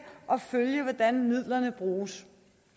og følge hvordan midlerne bruges